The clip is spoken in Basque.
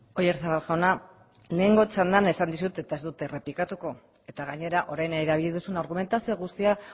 oyarzabal jauna lehengo txandan esan dizut eta ez dizut eta ez dut errepikatuko eta gainera orain erabili duzun argumentazio guzti hori